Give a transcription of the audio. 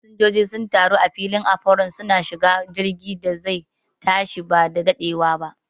Fasanjoji sun taru a filin afaron, suna shiga jirgin da zai tashi ba daɗewana